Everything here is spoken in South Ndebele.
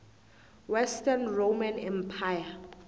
western roman empire